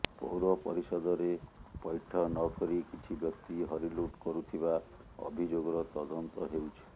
ପୌର ପରିଷଦରେ ପୈଠ ନକରି କିଛି ବ୍ୟକ୍ତି ହରିଲୁଟ୍ କରୁଥିବା ଅଭିଯୋଗର ତଦନ୍ତ ହେଉଛି